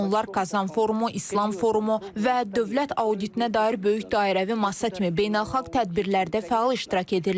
Onlar Kazan forumu, İslam forumu və dövlət auditinə dair böyük dairəvi masa kimi beynəlxalq tədbirlərdə fəal iştirak edirlər.